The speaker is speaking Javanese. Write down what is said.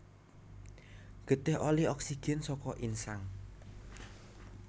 Getih olih oksigen saka insang